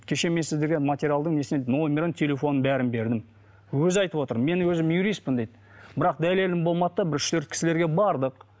кеше мен сіздерге материалдың несінен номерін телефонын бәрін бердім өзі айтып отыр мен өзім юристпін дейді бірақ дәлелім болмады да бір үш төрт кісілерге бардық